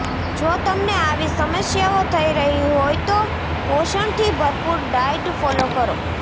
જો તમને આવી સમસ્યાઓ થઈ રહી હોય તો પોષણથી ભરપૂર ડાયટ ફોલો કરો